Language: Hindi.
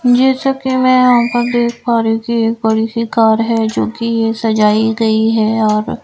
जैसा कि मैं यहां पर देख पा रही हूं कि एक बड़ी सी कार है जो कि सजाई गई हैऔर--